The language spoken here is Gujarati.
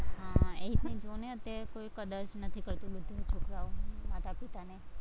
હા એ જ ને જોને અત્યારે કોઈ કદર જ નથી કરતુ, બધા છોકરાઓ માતા પિતાને